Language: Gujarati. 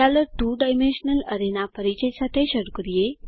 ચાલો 2 ડાયમેન્શનલ અરે ના પરિચય સાથે શરૂ કરીએ